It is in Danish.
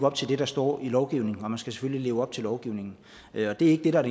op til det der står i lovgivningen og man skal selvfølgelig leve op til lovgivningen det er ikke det der er